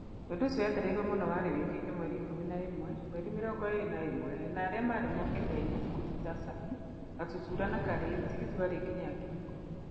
Undũ ũcio wetereiruo mũno warĩ wĩkĩke mweri wa ikũmi na ĩmwe mweri mĩrongo ĩrĩ na ĩmwe na arĩa marĩ moke nĩ aini nguthi ta Sami, Gatutura na Karĩ, tigiti warĩ nginya ngiri ikũmi.